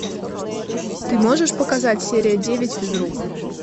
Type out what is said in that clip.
ты можешь показать серия девять физрук